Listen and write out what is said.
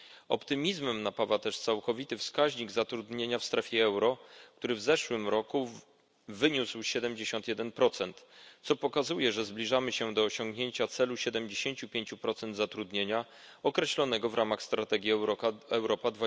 Optymizmem napawa też całkowity wskaźnik zatrudnienia w strefie euro, który w zeszłym roku wyniósł 71, co pokazuje, że zbliżamy się do osiągnięcia celu 75 zatrudnienia określonego w ramach strategii Europa